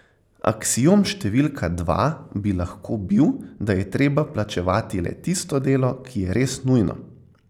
Aksiom številka dva bi lahko bil, da je treba plačevati le tisto delo, ki je res nujno.